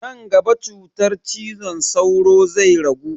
Nan gaba cutar cizon sauro zai ragu.